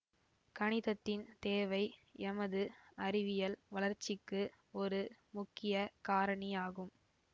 கணிதத்தின் தேவை எமது அறிவியல் வளர்ச்சிக்கு ஒரு முக்கிய காரணியாகும்